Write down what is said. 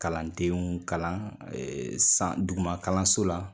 Kalandenw kalan san duguma kalanso la.